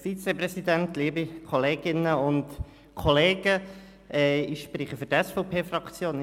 Ich spreche nicht als Einzelsprecher, sondern für die SVPFraktion.